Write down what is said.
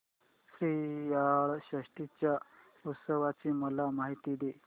श्रीयाळ षष्टी च्या उत्सवाची मला माहिती दे